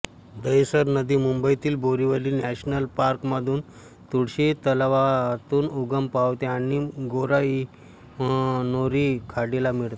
दहिसर नदी मुंबईतील बोरीवली नॅशनल पार्कमधील तुळशी तलावातून उगम पावते आणि गोराईमनोरी खाडीला मिळते